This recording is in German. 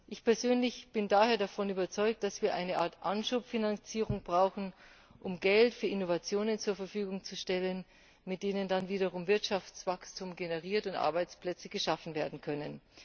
Ich persönlich bin daher davon überzeugt, dass wir eine Art Anschubfinanzierung brauchen, um Geld für Innovationen zur Verfügung zu stellen, mit denen dann wiederum Wirtschaftswachstum generiert und Arbeitsplätze geschaffen werden können.